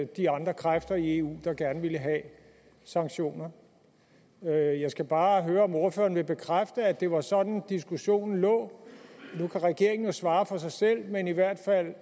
de andre kræfter i eu der gerne ville have sanktioner jeg jeg skal bare høre om ordføreren vil bekræfte at det var sådan diskussionen lå nu kan regeringen jo svare for sig selv men i hvert fald